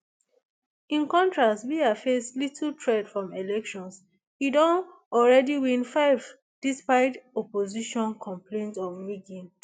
in contrast biya face little threat from elections e don already win five despite opposition complaints of rigging